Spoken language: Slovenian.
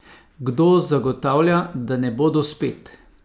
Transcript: Kdo zagotavlja, da ne bodo spet?